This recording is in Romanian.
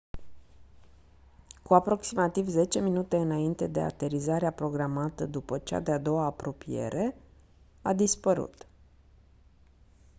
cu aproximativ 10 minute înainte de aterizarea programată după cea de-a doua apropiere a dispărut